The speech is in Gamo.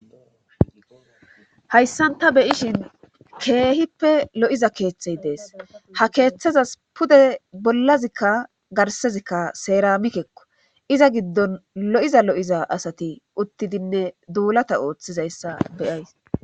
hayssan ta beyishin keehippe lo7iza keeththey dees ha keeththezas pude bollazikka garsezikka seeramikekko iza giddon lo7iza lo7iza asati uttidinne duulata ooththizayssa beyays